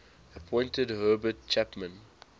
appointed herbert chapman